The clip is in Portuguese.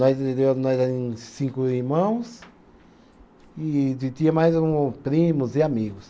Nós nós era em cinco irmãos e e de de tinha mais um primos e amigos.